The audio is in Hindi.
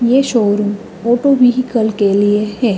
ये शोरुम ऑटो व्हीकल के लिए है।